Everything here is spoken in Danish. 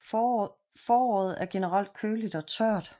Foråret er generelt køligt og tørt